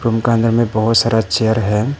Room का अंदर में बहोत सारा चेयर है।